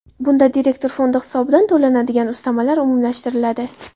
Bunda direktor fondi hisobidan to‘lanadigan ustamalar umumlashtiriladi.